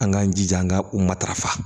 An k'an jija an ka u matarafa